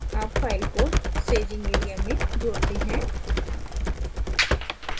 add file को staging area में जोड़ते हैं